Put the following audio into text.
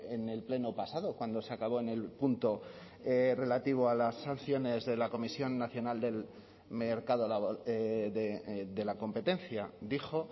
en el pleno pasado cuando se acabó en el punto relativo a las sanciones de la comisión nacional del mercado de la competencia dijo